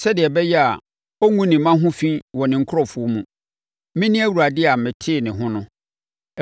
sɛdeɛ ɛbɛyɛ a ɔngu ne mma ho fi wɔ ne nkurɔfoɔ mu. Mene Awurade a metee ne ho no.’ ”